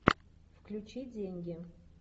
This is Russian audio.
включи деньги